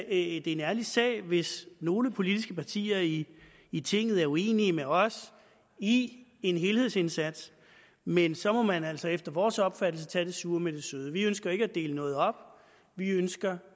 en ærlig sag hvis nogle politiske partier i i tinget er uenige med os i en helhedsindsats men så må man altså efter vores opfattelse tage det sure med det søde vi ønsker ikke at dele noget op vi ønsker